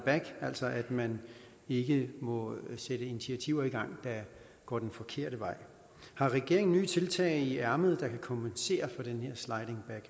back altså at man ikke må sætte initiativer i gang der går den forkerte vej har regeringen nye tiltag i ærmet der kan kompensere for den